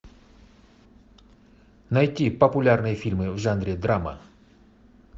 найти популярные фильмы в жанре драма